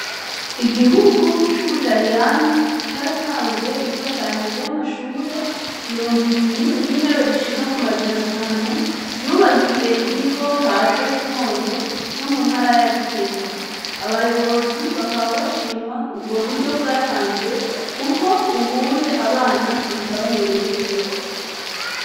Igihugu cubutaliyano caratanze imfashanyo yamashure mirongo ibiri nintebe zishika ku majana atanu ryubakiye ikigo kaze kibondo co muntara ya gitega abayobozi bakaba bashima uburyo bwatanzwe kuko ubu abana biga bamereew neza.